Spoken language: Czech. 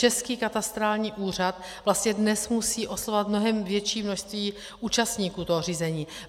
Český katastrální úřad vlastně dnes musí oslovovat mnohem větší množství účastníků toho řízení.